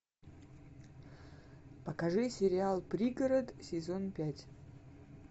покажи сериал пригород сезон пять